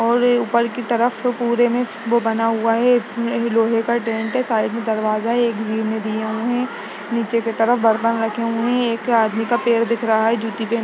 और ऊपर की तरफ पुरे में वो बना हुआ है एक लोहे का डेंट है साइड में दरवाजा है एक जी में दिए हुए हैं नीचे की तरफ बर्तन रखे हुए हैं एक आदमी का पैर दिख रहा है जुती पहना --